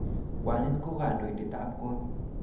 Kwanit ko kandoindet ab kot